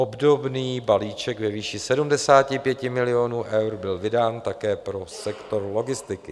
Obdobný balíček ve výši 75 milionů eur byl vydán také pro sektor logistiky.